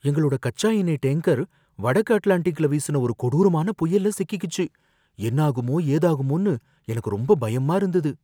எங்களோட கச்சா எண்ணெய் டேங்கர் வடக்கு அட்லாண்டிக்ல வீசுன ஒரு கொடூரமான புயல்ல சிக்கிக்கிச்சு, என்னாகுமோ ஏதாகுமோன்னு எனக்கு ரொம்ப பயமா இருந்தது.